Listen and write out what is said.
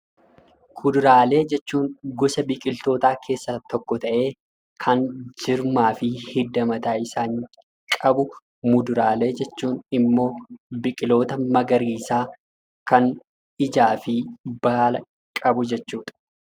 Kuduraalee jechuun gosa biqiltootaa keessaa tokko ta'ee, kan jirmaa fi hidda mataa isaanii qabu; muduraalee jechuun immoo biqiloota magariisaa kan ijaa fi baala qabu jechuu dha.